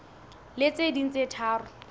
le tse ding tse tharo